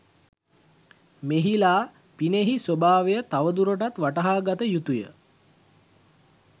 මෙහි ලා පිනෙහි ස්වභාව තවදුරටත් වටහා ගත යුතුය